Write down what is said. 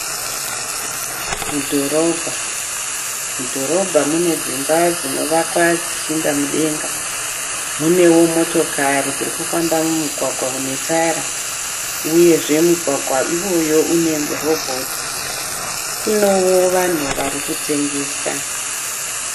Mudhorobha, mudhorobha mune dzimba dzinovakwa dzichienda mudenga. Munewo motokari dzirikufamba mumugwagwa unetara, uyezve mugwagwa iwoyo une robhoti. Kunowo vanhu varikutengesa.